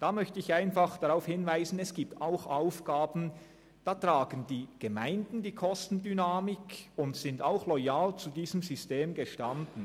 Dazu möchte ich darauf hinweisen, dass es auch Aufgaben gibt, bei denen die Gemeinden die Kostendynamik tragen und trotzdem loyal zu diesem System stehen.